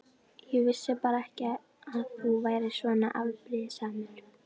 Ég vissi bara ekki að þú værir svona afbrýðisamur.